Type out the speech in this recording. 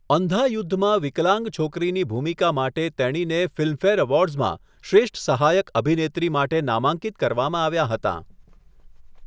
અંધા યુદ્ધ'માં વિકલાંગ છોકરીની ભૂમિકા માટે તેણીને ફિલ્મફેર એવોર્ડ્સમાં 'શ્રેષ્ઠ સહાયક અભિનેત્રી' માટે નામાંકિત કરવામાં આવ્યાં હતાં.